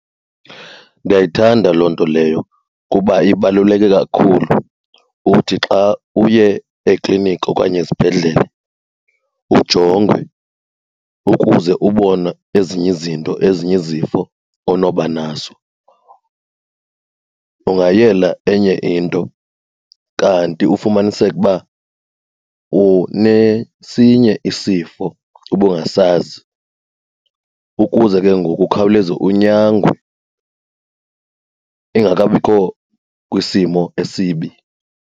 Ndiyayithanda loo nto leyo kuba ibaluleke kakhulu, uthi xa uye ekliniki okanye esibhedlele ujongwe ukuze ubonwe ezinye izinto, ezinye izifo onoba nazo. Ungayela enye into kanti ufumaniseke uba unesinye isifo ubungasazi, ukuze ke ngoku ukhawuleze unyangwe ingakabikho kwisimo esibi.